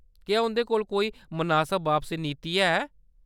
क्या उंʼदे कोल कोई मनासब बापसी नीति है ?